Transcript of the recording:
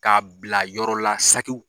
Ka bila yɔrɔ la sagiw